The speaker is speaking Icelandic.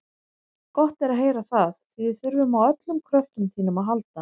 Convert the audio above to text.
Gott er að heyra það, því við þurfum á öllum kröftum þínum að halda.